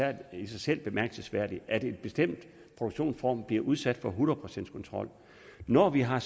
er i sig selv bemærkelsesværdigt at en bestemt produktionsform bliver udsat for en hundrede procents kontrol når vi har